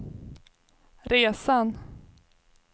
resan